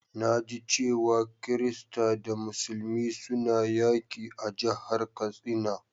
Na ji cewa kirista da musulmi suna yaki a'jihar Katsina.